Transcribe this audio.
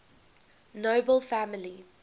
nobel family